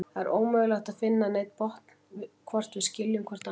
Það er ómögulegt að finna neinn botn í, hvort við skiljum hvort annað.